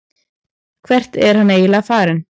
Hvert er hann eiginlega farinn?